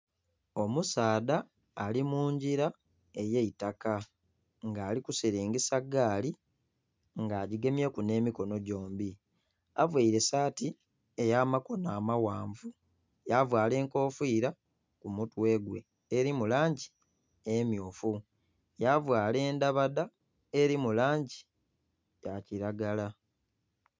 Omusaadha ali mungira ey'eitaka nga ali kusiringisa gaali nga agigemyeku n'emikono gyombi, avaire saati ey'amakono amaghanvu ya vaala enkofiira ku mutwe gwe eri mu langi emmyufu, ya vaala endabadha eri mu langi ya kilagala.